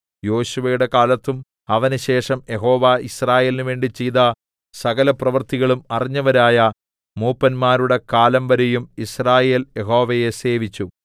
യോശുവയുടെ കാലത്തും അവനുശേഷം യഹോവ യിസ്രായേലിന് വേണ്ടി ചെയ്ത സകലപ്രവൃത്തികളും അറിഞ്ഞവരായ മൂപ്പന്മാരുടെ കാലം വരെയും യിസ്രായേൽ യഹോവയെ സേവിച്ചു